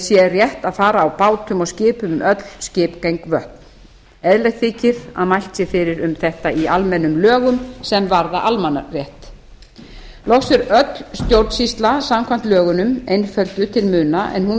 sé rétt að fara á bátum og skipum um öll skipgeng vötn eðlilegt þykir að mælt sé fyrir um þetta í almennum lögum sem varða almannarétt loks er öll stjórnsýsla samkvæmt lögunum einfölduð til muna en hún